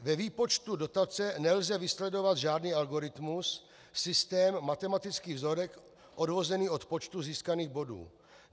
Ve výpočtu dotace nelze vysledovat žádný algoritmus, systém, matematický vzorec odvozený od počtu získaných bodů.